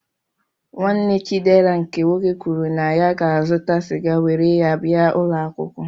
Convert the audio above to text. Nwanne Chidera nke nwoke kwuru na ya ga-azụta sịga were ya bia ụlọakwụkwọ.